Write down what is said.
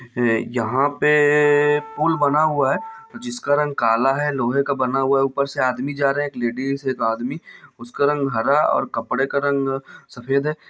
ये यहाँ पे-ए- ए- ए पूल बना हुआ है जिसका रंग काला है लोहे का बना हुआ है ऊपर से आदमी जा रहे है एक लेडिस एक आदमी उसका रंग हरा और कपड़े का रंग सफ़ेद है।